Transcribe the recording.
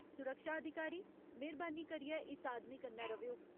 सुरक्षा अधिकारी, मेह्‌रबानी करियै इस आदमी कन्नै र'वेओ।